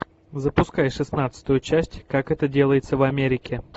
запускай шестнадцатую часть как это делается в америке